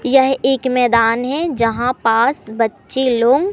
यह एक मैदान है जहां पास बच्चे लो--